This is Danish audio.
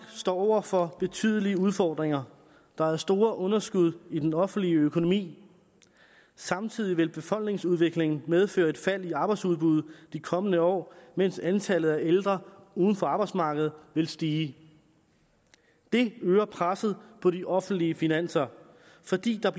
står over for betydelige udfordringer der er store underskud i den offentlige økonomi samtidig vil befolkningsudviklingen medføre et fald i arbejdsudbuddet i de kommende år mens antallet af ældre uden for arbejdsmarkedet vil stige det øger presset på de offentlige finanser fordi der